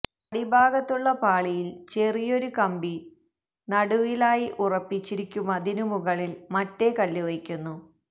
അടിഭാഗത്തുള്ള പാളിയിൽ ചെറിയൊരു കമ്പി നടുവിലായി ഉറപ്പിച്ചിരിക്കുമതിനു മുകളിൽ മറ്റേ കല്ലു വയ്ക്കുന്നു